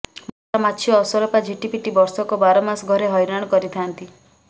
ମଶା ମାଛି ଅସରପା ଝିଟିପିଟି ବର୍ଷକ ବାରମାସ ଘରେ ହଇରାଣ କରିଥାନ୍ତି